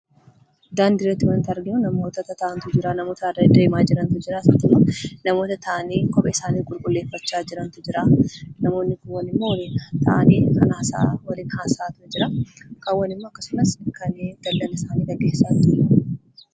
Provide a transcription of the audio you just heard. Daandii irratti wanti arginu namoota tataa'antu jira. Namoota deddeemaa jirantu jira. Akkasumas immoo namoota taa'anii kophee isaanii qulqulleeffachaa jirantu jira. Namootni kaan immoo taa'anii kan waliin haasa'aa jirantu jira. Kaan immoo kanneen daldala isaanii gaggeessaa jirantu jira.